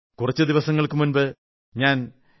കുറച്ചു ദിവസങ്ങൾക്കു മുമ്പ് ഞാൻ ശ്രീ